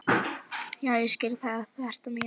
Já, ég skil hvað þú ert að meina.